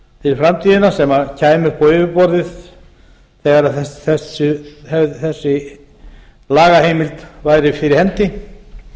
fyrir framtíðina sem kæmi upp á yfirborðið þegar þessi lagaheifmild væri fyrir hendi